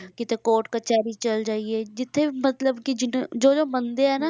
ਕਿਤੇ court ਕਚਿਹਿਰੀ ਚਲੇ ਜਾਈਏ ਜਿੱਥੇ ਮਤਲਬ ਕਿ ਜਿੰਨ~ ਜੋ ਜੋ ਮੰਨਦੇ ਹੈ ਨਾ,